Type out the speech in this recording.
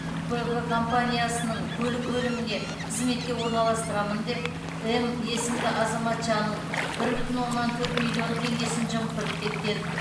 б в компаниясының көлік бөліміне қызметке орналастырамын деп м есімді азаматшаның бір бүтін оннан төрт миллион теңгесін жымқырып кеткен